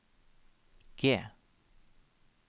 G